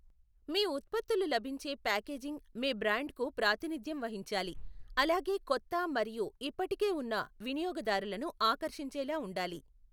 మీ ఉత్పత్తులు లభించే ప్యాకేజింగ్ మీ బ్రాండ్కు ప్రాతినిధ్యం వహించాలి, అలాగే కొత్త మరియు ఇప్పటికే ఉన్న వినియోగదారులను ఆకర్షించేలా ఉండాలి.